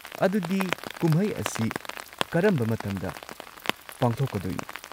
ꯑꯗꯨꯗꯤ ꯀꯨꯝꯍꯩ ꯑꯁꯤ ꯀꯔꯝꯕ ꯃꯇꯝꯗ ꯄꯥꯡꯊꯣꯛꯀꯗꯣꯏꯅꯣ?